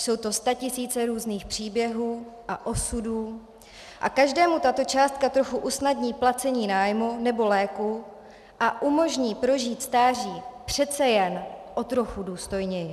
Jsou to statisíce různých příběhů a osudů a každému tato částka trochu usnadní placení nájmu nebo léků a umožní prožít stáří přece jen o trochu důstojněji.